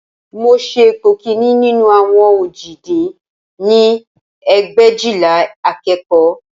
Mo ṣe ipò kìíní nínú àwọn òjì dín ní ẹgbẹ̀éjìlá akẹ́kọ̀ọ́